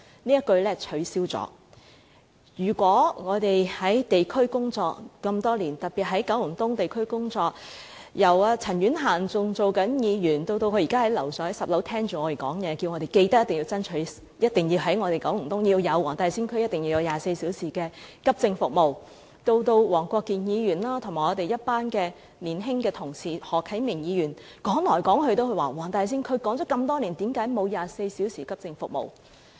我們在地區工作多年，自陳婉嫻女士擔任議員，直至現在她在10樓聆聽着我們發言，其間一直叮囑我們緊記向政府爭取在九龍東黃大仙區提供24小時急症服務，而黃國健議員和我們一群年青的同事，例如何啟明議員，亦已提出多年，為何在黃大仙區仍沒有24小時急症服務？